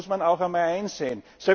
Das muss man auch mal einsehen.